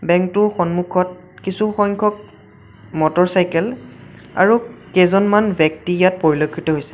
Bank টোৰ সন্মুখত কিছু সংখ্যক মটৰ চাইকেল আৰু কেইজনমান ব্যক্তি ইয়াত পৰিলক্ষিত হৈছে।